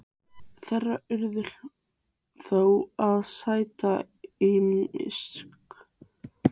Þeir urðu þó að sæta ýmsum öryggisráðstöfunum.